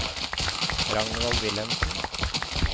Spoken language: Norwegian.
Ragnvald Wilhelmsen